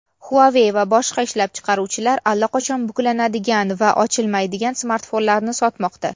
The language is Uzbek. huawei va boshqa ishlab chiqaruvchilar allaqachon buklanadigan va ochilmaydigan smartfonlarni sotmoqda.